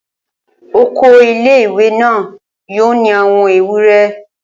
Oko ilé-ìwé náà yóò ní àwọn ewúre